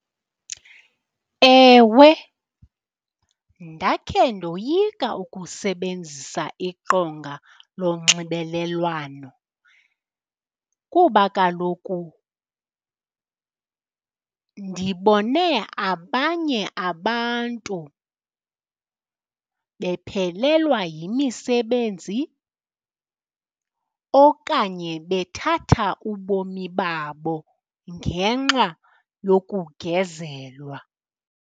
Ewe, ndakhe ndoyika ukusebenzisa iqonga lonxibelelwano kuba kaloku ndibone abanye abantu bephelelwa yimisebenzi okanye bethatha ubomi babo ngenxa yokugezelwa.